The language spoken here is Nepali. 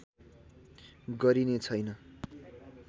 गरिने छैन